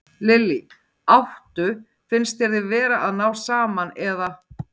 Lillý: Áttu, finnst þér þið vera að ná saman, eða?